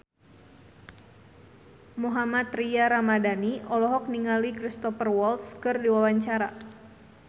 Mohammad Tria Ramadhani olohok ningali Cristhoper Waltz keur diwawancara